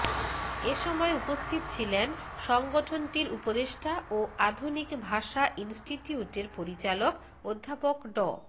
এসময় উপস্থিত ছিলেন সংগঠনটির উপদেষ্টা ও আধুনিক ভাষা ইনস্টিটিউটের পরিচালক অধ্যাপক ড